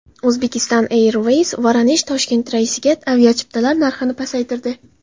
Uzbekistan Airways VoronejToshkent reysiga aviachiptalar narxini pasaytirdi.